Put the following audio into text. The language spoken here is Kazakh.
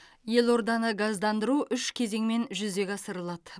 елорданы газдандандыру үш кезеңмен жүзеге асырылады